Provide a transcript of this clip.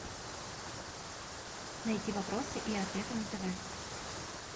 найти вопросы и ответы на тв